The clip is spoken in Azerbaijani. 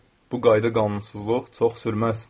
Bu qayda qanunsuzluq çox sürməz.